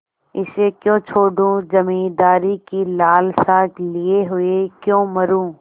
इसे क्यों छोडूँ जमींदारी की लालसा लिये हुए क्यों मरुँ